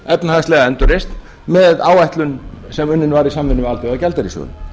efnahagslega endurreisn með áætlun sem unnin var í samvinnu við alþjóðagjaldeyrissjóðinn